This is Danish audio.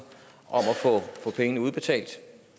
få pengene udbetalt